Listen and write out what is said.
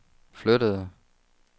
flyttede